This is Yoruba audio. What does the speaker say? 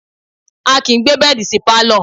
A kìí gbé bẹ́ẹ̀dì sí Pálọ̀.